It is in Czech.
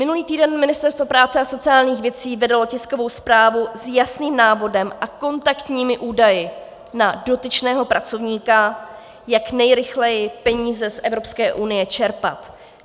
Minulý týden Ministerstvo práce a sociálních věcí vydalo tiskovou zprávu s jasným návodem a kontaktními údaji na dotyčného pracovníka, jak nejrychleji peníze z Evropské unie čerpat.